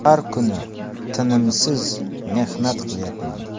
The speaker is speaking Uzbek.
Har kuni tinimsiz mehnat qilyapman.